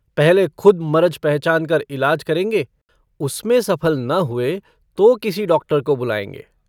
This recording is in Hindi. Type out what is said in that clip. पहले खुद मरज पहचानकर इलाज करेंगे उसमें सफल न हुए तो किसी डॉक्टर को बुलाएंगे।